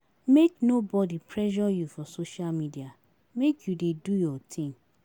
Make nobodi pressure you for social media, make you dey do your tin.